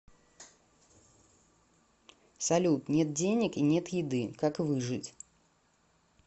салют нет денег и нет еды как выжить